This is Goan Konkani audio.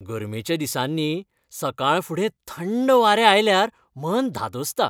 गर्मेच्या दिसांनी सकाळफुडें थंड वारें आयल्यार मन धादोसता .